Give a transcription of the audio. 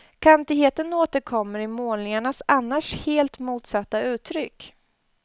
Kantigheten återkommer i målningarnas annars helt motsatta uttryck.